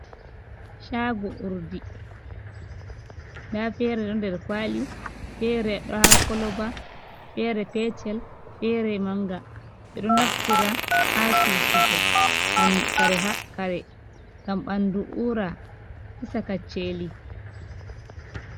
Chago urdi nda feere ɗo nder kwali, feere ɗo ha koloba feere petel feere manga, ɓedo naftira ha susugo kare gam ɓandu ura hisa kacceli.